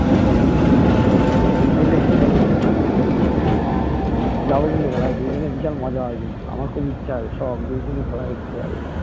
বুঝল কি বললাম যাবো কিন্তু খেলা দেখতে ওখানে বিশাল মজা হয় কিন্তু আমার খুব ইচ্ছে আছে শোক ওখানে খেলা দেখতে যাবো